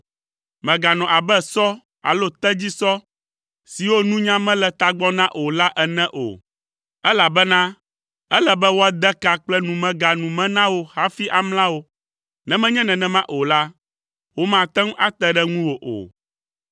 Mèganɔ abe sɔ alo tedzisɔ siwo nunya mele tagbɔ na o la ene o, elabena ele be woade ka kple numega nu me na wo hafi amla wo, ne menye nenema o la, womate ŋu ate ɖe ŋuwò o.